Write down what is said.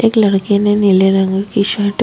एक लडके ने नीले रंग की शर्ट --